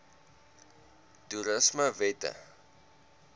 toerismewette